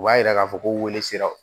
U b'a yira k'a fɔ ko weele siraw